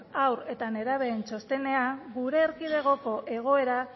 haur eta nerabeen txostenean gure erkidegoko egoera